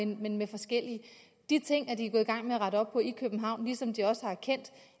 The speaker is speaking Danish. men med forskellige de ting er de gået i gang med at rette op på i københavn ligesom de også har erkendt